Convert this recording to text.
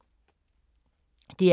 DR K